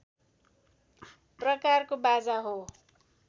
प्रकारको बाजा हो